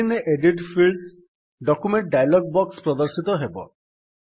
screen ରେ edit Fields document dialogue box ପ୍ରଦର୍ଶିତ ହେବ